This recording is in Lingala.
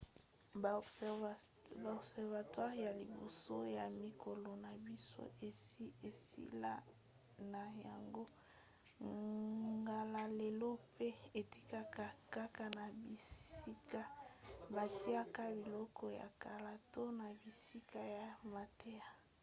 ba observatoires ya liboso ya mikolo na biso esi esila na yango ngala lelo mpe etikala kaka na bisika batiaka biloko ya kala to na bisika ya mateya